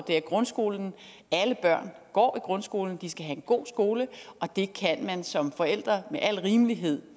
grundskolen alle børn går i grundskolen de skal have en god skole og det kan man som forældre med al rimelighed